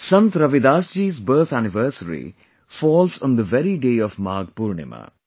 Sant Ravidas ji's birth anniversary falls on the very day of Magh Poornima